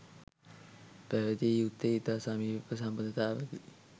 පැවැතිය යුත්තේ ඉතා සමීප සබඳතාවකි.